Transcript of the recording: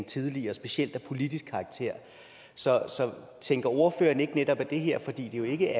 tidligere specielt af politisk karakter så tænker ordføreren ikke at netop det her for det er jo ikke